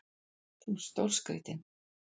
Þú ert stórskrítinn!